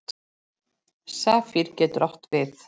Safír getur átt við